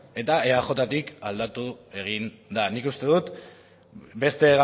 eta eajtik aldatu egin den nik uste dut beste